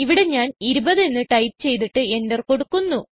ഇവിടെ ഞാൻ 20 എന്ന് ടൈപ്പ് ചെയ്തിട്ട് എന്റർ കൊടുക്കുന്നു